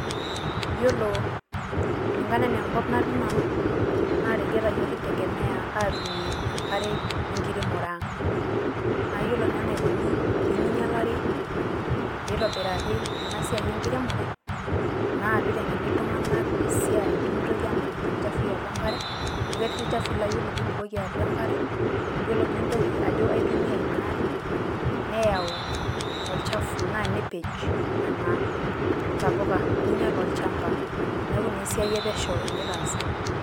Yiolo, kulingana ena enkop natii nanu, na yiereta yiook kintegemea atumie enkare enkiremore ang'. Nayiolo naa enaikuni piminyalari, pitobirari enasiai enkiremore, na piteng'eni iltung'anak esiai. Pimitoki anang'aki ilchafuii atua enkare, amu ketii ilchafuii la ore ake pibukoki atua enkare, yiolo pintoki ajo aitumia inaare, neyau olchafu. Naa nepej nena tapuka, ninyal olchamba.